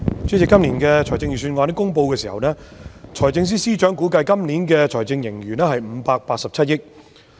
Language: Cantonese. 主席，今年公布財政預算案的時候，財政司司長估計本年度有587億元財政盈餘。